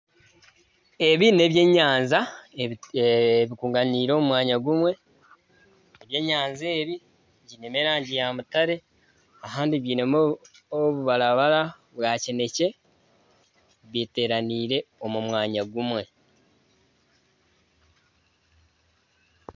Ebi n'ebyenyaja ebirundanaire omu mwanya gumwe ebyenyanja ebi byinemu erangi ya mutare kandi ahandi bwinemu obubarabara bwa kinekye biteranaire omu mwanya gumwe.